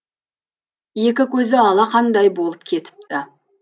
екі көзі алақандай болып кетіпті